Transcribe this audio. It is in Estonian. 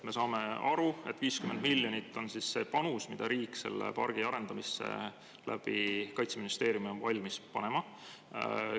Me saame aru, et 50 miljonit eurot on see panus, mida riik selle pargi arendamisse Kaitseministeeriumi kaudu on valmis panema.